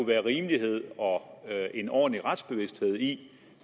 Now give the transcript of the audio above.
være rimelighed og en ordentlig retsbevidsthed i